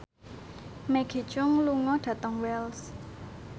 Maggie Cheung lunga dhateng Wells